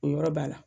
O yɔrɔ b'a la